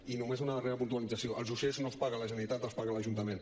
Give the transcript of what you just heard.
i només una darrera puntualització els uixers no els paga la generalitat els paga l’ajuntament